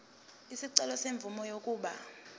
isicelo semvume yokuba